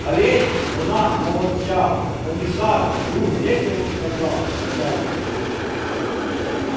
а ведь она молодчага комиссар вдруг весело сказал начальник